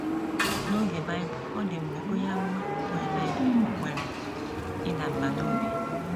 N’oge Bible, ọ dị mgbe onye amụma bụ́ Elaịja nwere ịda mbà n’obi.